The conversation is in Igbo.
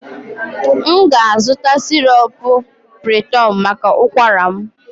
M ga-azụta syrup piriton maka ụkwara m